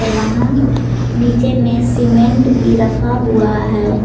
वहां नीचे में सीमेंट भी रखा हुआ है।